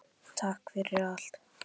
Takk fyrir allt.